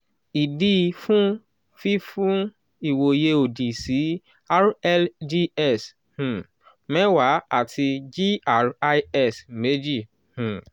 idi fun fifun iwoye odi si rlgs um mewaa ati gris meji um